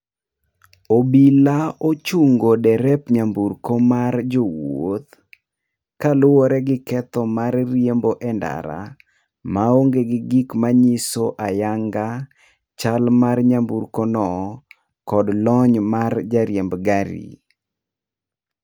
Obila ochungo derep nyamburko mar jowuoth, kaluwore gi ketho mar riembo endara maonge gi gik manyiso ayanga chal mar nyamburkono, kod lony mar jariemb gari.